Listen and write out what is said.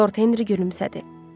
Lord Henri gülümsədi.